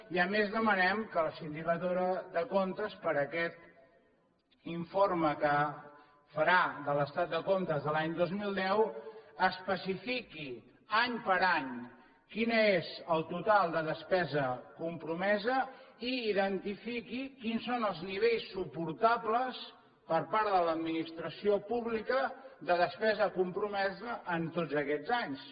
i a més demanem que la sindicatura de comptes per a aquest informe que farà de l’estat de comptes de l’any dos mil deu especifiqui any per any quin és el total de despesa compromesa i identifiqui quins són els nivells suportables per part de l’administració pública de despesa compromesa en tots aquests anys